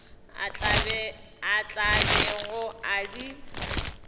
a tla bego a di